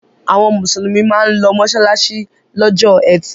Àwọn Mùsùlùmí máa ń lọ mọ́ṣáláṣí lọ́jọ́ ẹtì.